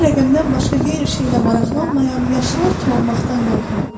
Mən rəqəmdən başqa qeyri şeylə maraqlanmayan yaşlılar kimi olmaqdan qorxuram.